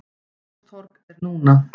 Ingólfstorg er núna.